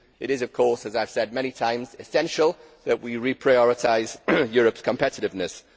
It is, of course, as I have said many times essential that we reprioritise Europe's competitiveness.